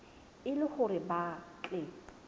e le hore ba tle